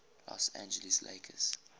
los angeles lakers